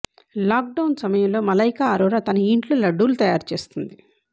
lockdown సమయంలో మలైక ఆరోరా తన ఇంట్లో లడ్డూలు తయారు చేస్తోంది